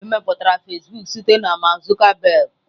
Emepụtara Fasịbụk site na Mark Zuckerberg.